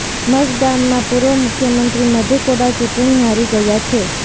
મઝગામમાં પૂર્વ મુખ્યમંત્રી મધુ કોડા ચૂંટ્ણી હારી ગયા છે